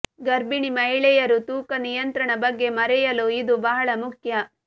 ಗರ್ಭಿಣಿ ಮಹಿಳೆಯರು ತೂಕ ನಿಯಂತ್ರಣ ಬಗ್ಗೆ ಮರೆಯಲು ಇದು ಬಹಳ ಮುಖ್ಯ